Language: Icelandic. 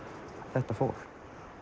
þetta fólk